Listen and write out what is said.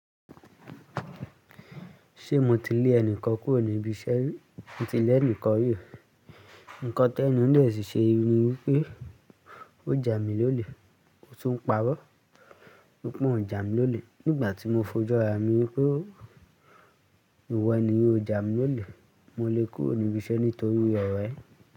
Ṣé mo ti lé ẹni kọ́ kúrò ní ibi iṣẹ́? Mo ti lé ẹni kan rí. Ǹkan tẹ́ẹ̀ nìyẹn sì ṣe ni wipé o jámilólè, ó tún pa'rọ́ wípé o jámilólè. Nígbà tí mo fojú ara mi wípé ìwọ ẹni o jámilólè, mo lé kúrò níbi iṣẹ́ nítorí ọ̀rọ̀ ẹ.